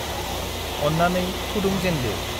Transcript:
अन्नानै फुदुंजेनदो।